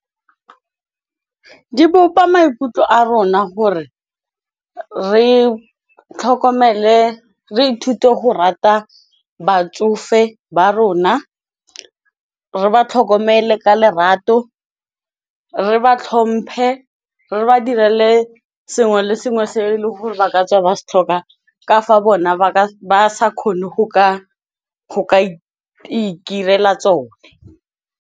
Di bopa maikutlo a rona gore, re ithute go rata batsofe ba rona, re ba tlhokomele ka lerato, re ba tlhomphe re ba direle sengwe le sengwe se e leng gore ba ka tswa ba se tlhoka, ka fa bona ba sa kgone go ka go ikirela tsone.